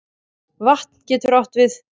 Vatn getur átt við